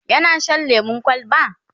yana Shan lemun kwalba?